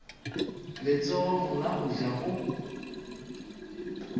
letsogong la go ja go